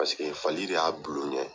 Paseke fali de y'a bilu ɲɛ.